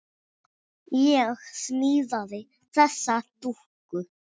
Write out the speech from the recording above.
Ég smíðaði þessa dúkku.